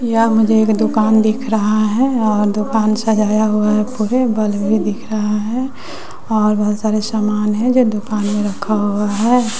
यह मुझे एक दुकान दिख रहा है और दुकान सजाया हुआ है पूरे बल्ब भी दिख रहा है और बहोत सारे सामान है जो दुकान में रखा हुआ है।